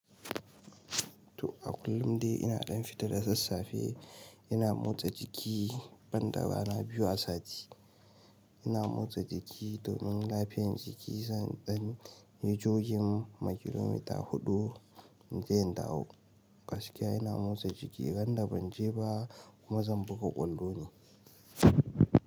To a kullum dai ina ɗan fita da sassafe, ina motsa jiki banda rana biyu a sati. Ina motsa jiki domin lafiyar jiki zan danyi jogin ma kilomita huɗu inje in dawo. Gaskiya ina motsa jiki randa banje ba kuma zan buga ƙwallo ne.